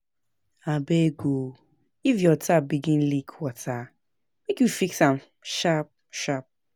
Abeg o, if your tap begin leak water make you fix am sharp-sharp.